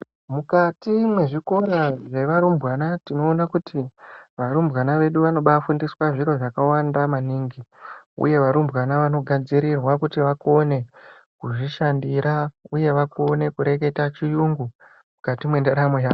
Mukati mwezvikora zvevarumbwana tinoona kuti varumbwana vedu vanobafundiswa zviro zvakawanda maningi uye varumbwana vanogadzirirwa kuti vakone kuzvishandira uye vakone kureketa chiyungu mukati mendaramo yawo.